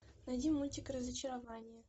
найди мультик разочарование